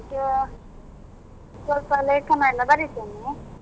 ಈಗ ಸ್ವಲ್ಪ ಲೇಖನ ಎಲ್ಲಾ ಬರಿತೇನೆ.